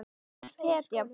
Þú ert hetja.